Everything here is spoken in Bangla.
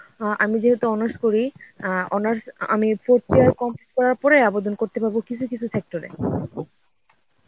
আহ আমি যেহেতু honours করি আ honours আমি fourth year complete করার পরে আবেদন করতে পারবো কিছু কিছু sector এ.